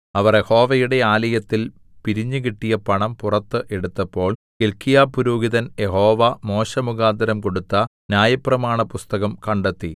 അവർ യഹോവയുടെ ആലയത്തിൽ പിരിഞ്ഞുകിട്ടിയ പണം പുറത്ത് എടുത്തപ്പോൾ ഹില്ക്കീയാപുരോഹിതൻ യഹോവ മോശെമുഖാന്തരം കൊടുത്ത ന്യായപ്രമാണപുസ്തകം കണ്ടെത്തി